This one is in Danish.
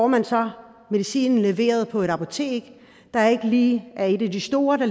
man så medicinen leveret på et apotek der ikke lige er et af de store